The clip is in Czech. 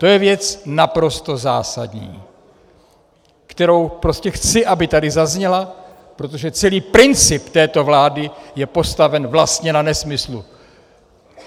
To je věc naprosto zásadní, kterou prostě chci, aby tady zazněla, protože celý princip této vlády je postaven vlastně na nesmyslu!